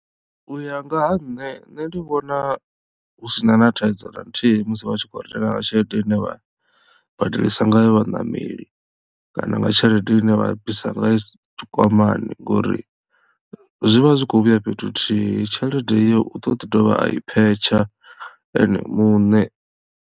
U ya nga ha nṋe nṋe ndi vhona hu sina na thaidzo na nthihi musi vha tshi kho renga nga tshelede ine vha badelisa ngayo vhaṋameli kana nga tshelede ine vha bvisa ngayo tshikwamani ngori zwi vha zwi kho vhuya fhethu huthihi tshelede iyo u ḓo ḓi dovha a i phetsha ene muṋe.